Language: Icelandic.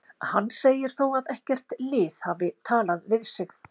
Hann segir þó að ekkert lið hafi talað við sig.